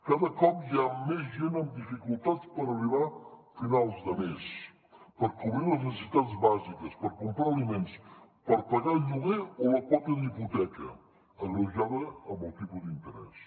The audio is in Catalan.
cada cop hi ha més gent amb dificultats per arribar a finals de mes per cobrir les necessitats bàsiques per comprar aliments per pagar el lloguer o la quota d’hipoteca agreujada amb el tipus d’interès